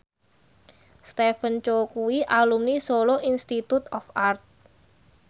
Stephen Chow kuwi alumni Solo Institute of Art